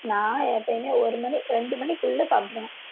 நான் எப்பயுமே ஒரு மணி ரெண்டு மணிக்குள்ள சாப்பிட்டுருவேன்